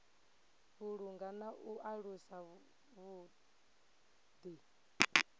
vhulunga na u alusa vhuḓi